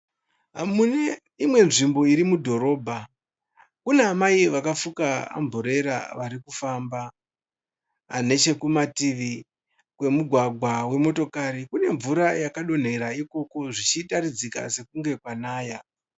Muneimwe nzvimbo iri mudhorobha, Kuna amai vakafuka amburera varikufamba. Nechekumativi kwemugwagwa wemotokari , kune mvura yakadonhera ikoko, zvichitaridzika senge kwanaya.